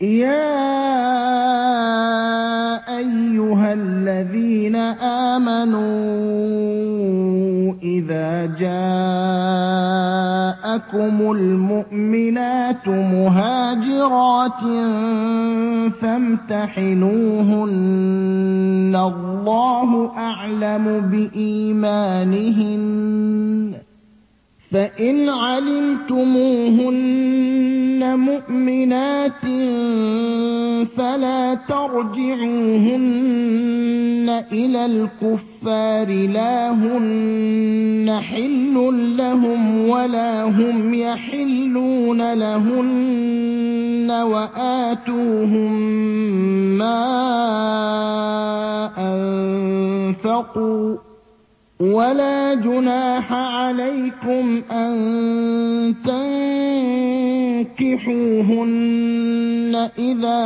يَا أَيُّهَا الَّذِينَ آمَنُوا إِذَا جَاءَكُمُ الْمُؤْمِنَاتُ مُهَاجِرَاتٍ فَامْتَحِنُوهُنَّ ۖ اللَّهُ أَعْلَمُ بِإِيمَانِهِنَّ ۖ فَإِنْ عَلِمْتُمُوهُنَّ مُؤْمِنَاتٍ فَلَا تَرْجِعُوهُنَّ إِلَى الْكُفَّارِ ۖ لَا هُنَّ حِلٌّ لَّهُمْ وَلَا هُمْ يَحِلُّونَ لَهُنَّ ۖ وَآتُوهُم مَّا أَنفَقُوا ۚ وَلَا جُنَاحَ عَلَيْكُمْ أَن تَنكِحُوهُنَّ إِذَا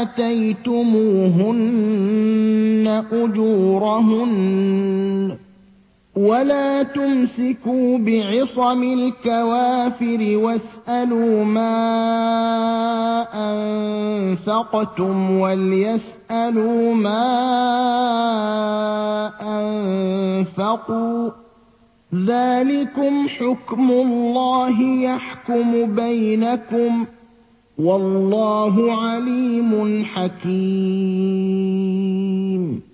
آتَيْتُمُوهُنَّ أُجُورَهُنَّ ۚ وَلَا تُمْسِكُوا بِعِصَمِ الْكَوَافِرِ وَاسْأَلُوا مَا أَنفَقْتُمْ وَلْيَسْأَلُوا مَا أَنفَقُوا ۚ ذَٰلِكُمْ حُكْمُ اللَّهِ ۖ يَحْكُمُ بَيْنَكُمْ ۚ وَاللَّهُ عَلِيمٌ حَكِيمٌ